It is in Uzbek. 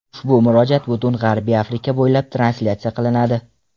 Ushbu murojaat butun G‘arbiy Afrika bo‘ylab translyatsiya qilinadi.